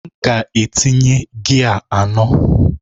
M ga-etinye gia anọ.